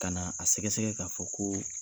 Ka na a sɛgɛsɛgɛ k'a fɔ ko